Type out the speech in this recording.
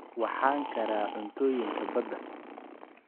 Waxaan karraa cuntooyinka badda.